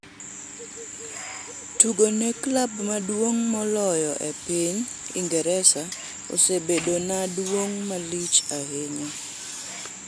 “Tugo ne klab maduong’ie moloyo e piny Ingresa osebedona duong’ malich’ ahinya.”